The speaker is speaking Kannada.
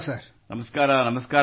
ನಮಸ್ಕಾರ ನಮಸ್ಕಾರ |